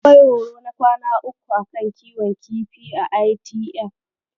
Akwai horo na kwana uku a kan kiwon kifi a ITF.